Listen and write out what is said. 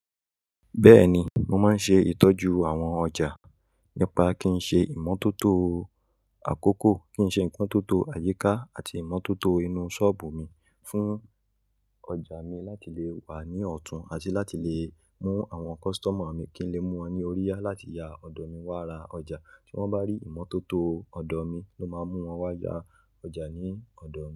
Bẹ́ẹ̀ni, mo máa ń ṣe ìtọ́jú àwọn ọjà nípa kí n ṣe ìmọ́tótó àkókò, kí n ṣe ìmọ́tótó àyíká àti ìmọ́tótó inú ṣọ́ọ̀bù mi fún ọjà mi láti le wà ní ọ̀tún, àti láti lè mú àwọn kọ́sítọ́mà mi kí ń le mú wọn ní oríyá láti ya ọ̀dọ̀ mi wá ra ọjà. Tí wọ́n bá rí ìmọ́tótó ọ̀dọ̀ mi ló máa mú wọn wá ya ọjà ní ọ̀dọ̀ mi.